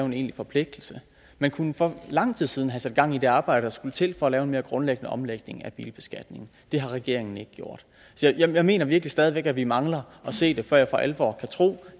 en egentlig forpligtelse man kunne for lang tid siden have sat gang i det arbejde der skulle til for at lave en mere grundlæggende omlægning af bilbeskatningen det har regeringen ikke gjort jeg mener virkelig stadig væk at vi mangler at se det før jeg for alvor kan tro